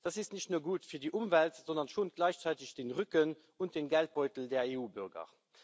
Das ist nicht nur gut für die Umwelt, sondern schont gleichzeitig den Rücken und den Geldbeutel der EU Bürger.